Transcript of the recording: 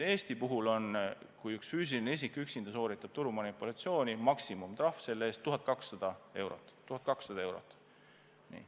Eesti puhul on nii, et kui mõni füüsiline isik üksinda sooritab turumanipulatsiooni, siis maksimumtrahv selle eest on 1200 eurot.